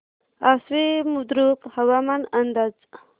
आश्वी बुद्रुक हवामान अंदाज